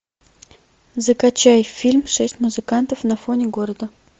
закачай фильм шесть музыкантов на фоне города